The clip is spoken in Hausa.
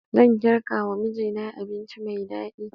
Zan girkawa mijina abinci mai daɗi